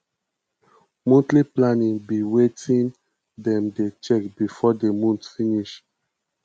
monthly planning be wetin dem dey check before di month finish